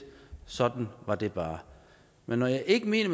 sådan var det bare men når jeg ikke mener